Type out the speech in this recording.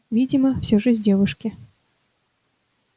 видимо все же с девушки